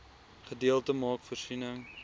gedeelte maak voorsiening